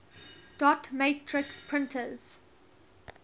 dot matrix printers